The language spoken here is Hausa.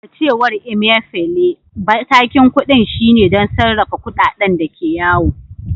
A cewar Emefiele, matakin kudin shine don sarrafa kudaden da ke yawo.